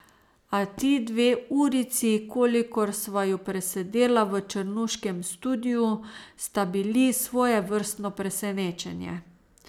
A ti dve urici, kolikor sva ju presedela v črnuškem studiu, sta bili svojevrstno presenečenje.